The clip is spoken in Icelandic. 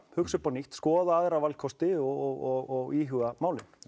hugsa upp á nýtt skoða aðra valkosti og íhuga málin